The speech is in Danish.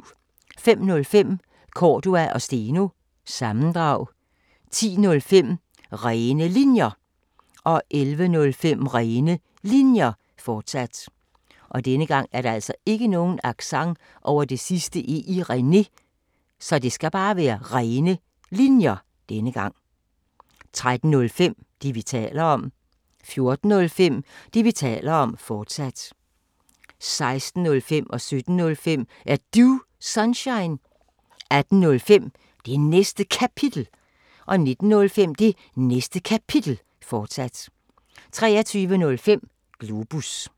05:05: Cordua & Steno – sammendrag 10:05: Rene Linjer 11:05: Rene Linjer, fortsat 13:05: Det, vi taler om 14:05: Det, vi taler om, fortsat 16:05: Er Du Sunshine? 17:05: Er Du Sunshine? 18:05: Det Næste Kapitel 19:05: Det Næste Kapitel, fortsat 23:05: Globus